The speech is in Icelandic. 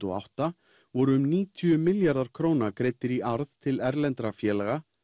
og átta voru um níutíu milljarðar króna greiddir í arð til erlendra félaga